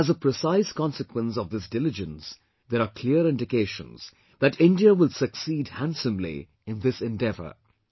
And as a precise consequence of this diligence, there are clear indications that India will succeed handsomely in this endeavour